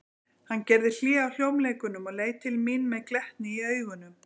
Hann gerði hlé á hljómleikunum og leit til mín með glettni í augunum.